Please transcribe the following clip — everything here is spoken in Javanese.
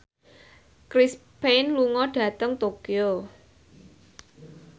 Chris Pane lunga dhateng Tokyo